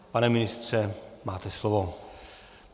Pane ministře, máte slovo.